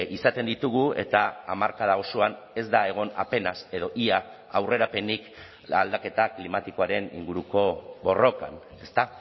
izaten ditugu eta hamarkada osoan ez da egon apenas edo ia aurrerapenik aldaketa klimatikoaren inguruko borrokan ezta